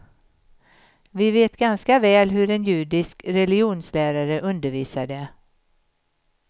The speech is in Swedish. Vi vet ganska väl hur en judisk religionslärare undervisade.